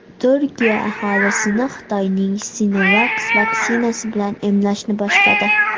Turkiya aholisini Xitoyning Sinovac vaksinasi bilan emlashni boshladi.